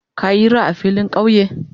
Ka yira a filin kauye?